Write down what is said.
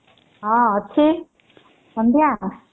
ହଁ ଅଛି ଏମିତିଆ ଆଉ